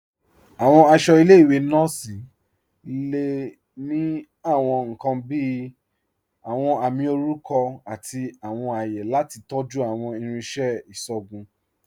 Awọn aṣọ ilẹ̀-iwe nọọsi le ni awọn nkan bíi awọn àmì orúkọ àti awọn àyẹ̀ lati tọ̀jú awọn irinṣẹ̀ iṣọgùn.